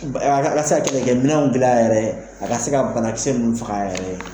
A ka se ka kɛlɛkɛ minɛnw dilan yɛrɛ ye a ka se ka banakisɛ nunnu faga a yɛrɛ ye.